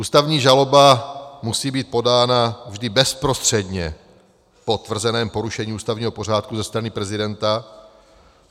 Ústavní žaloba musí být podána vždy bezprostředně po tvrzeném porušení ústavního pořádku ze strany prezidenta.